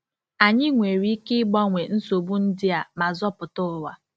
Anyị nwere ike ịgbanwe nsogbu ndị a ma zọpụta ụwa.